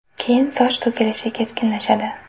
Keyin soch to‘kilishi keskinlashadi.